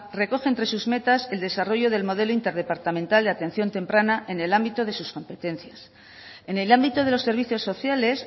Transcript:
recoge entre sus metas el desarrollo del modelo interdepartamental de atención temprana en el ámbito de sus competencias en el ámbito de los servicios sociales